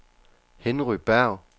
Henry Berg